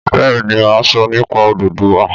Bẹ́ẹ̀ ni, mà á sọ nípa Odùduwà.